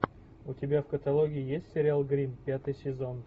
у тебя в каталоге есть сериал гримм пятый сезон